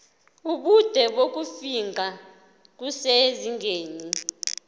ubude bokufingqa kusezingeni